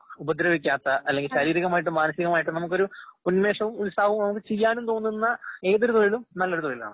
ഉപദ്രവിക്കാത്ത അല്ലെങ്കി ശാരീരികമായിട്ടും, മാനസികമായിട്ടും നമുക്കൊരു ഉന്മേഷവും, ഉത്സാഹവും നമുക്ക് ചെയ്യാനുംതോന്നുന്ന ഏതൊരുതൊഴിലും നല്ലൊരുതൊഴിലാണ്.